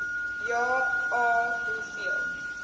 ja a hoeveel